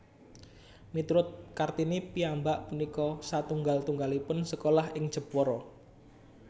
Miturut Kartini piyambak punika satunggal tunggalipun sekolah ing Jepara